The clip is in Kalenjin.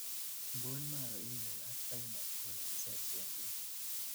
bone marrow ingung ak thymus konemu cells en lymph